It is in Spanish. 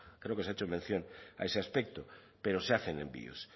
creo que se ha hecho mención a ese aspecto pero se hacen envíos